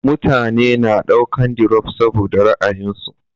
Mutane na daukan dirop saboda ra'ayinsu